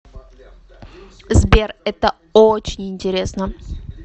сбер это очень интересно